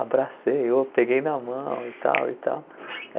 Abracei, ou peguei na mão e tal e tal.